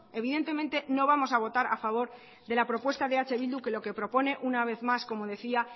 evidentemente no vamos a votar a favor de la propuesta de eh bildu que lo que propone una vez más como decía